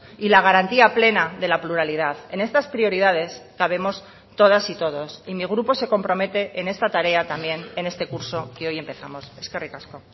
y la garantía plena de la pluralidad en estas prioridades cabemos todas y todos y mi grupo se compromete en esta tarea también en este curso que hoy empezamos eskerrik asko